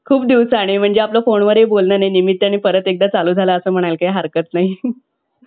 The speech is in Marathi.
कुठे आंदोलने आहेत कुठे अं कोणता कार्यभाग चाललेला आहे कुठं नवीन काम चालेलं आहे कुठ अं वेगवेळ्या घटना घडतायेत हे सगळं आपल्याला news मध्ये कळतं